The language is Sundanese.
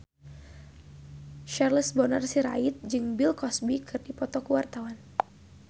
Charles Bonar Sirait jeung Bill Cosby keur dipoto ku wartawan